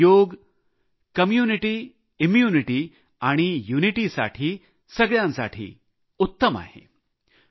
खरंच योग समुदाय रोगप्रतिकारक शक्ती आणि ऐक्य सगळ्यासाठी उत्तम आहे